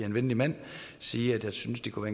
en venlig mand sige at jeg synes det kunne